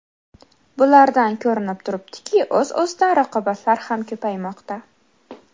Bulardan ko‘rinib turibdiki, o‘z-o‘zidan raqobatlar ham ko‘paymoqda.